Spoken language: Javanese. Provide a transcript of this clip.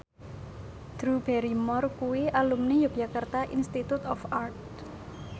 Drew Barrymore kuwi alumni Yogyakarta Institute of Art